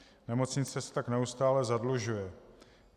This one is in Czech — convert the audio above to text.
Nemocnice se tak neustále zadlužuje.